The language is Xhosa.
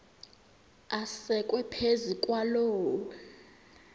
asekwe phezu kwaloo